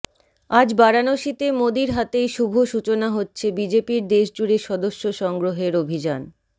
আজ বারাণসীতে মোদির হাতেই শুভ সূচনা হচ্ছে বিজেপির দেশজুড়ে সদস্য সংগ্রহের অভিযান